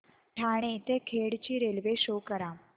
ठाणे ते खेड ची railway show करा